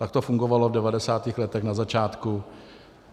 Tak to fungovalo v 90. letech na začátku.